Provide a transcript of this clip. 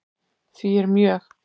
Því er mjög